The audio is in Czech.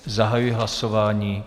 Zahajuji hlasování.